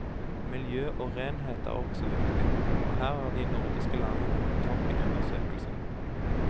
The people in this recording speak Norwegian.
Miljø og renhet er også viktig, og her er de nordiske landene på topp i undersøkelsen.